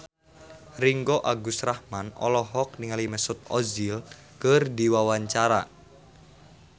Ringgo Agus Rahman olohok ningali Mesut Ozil keur diwawancara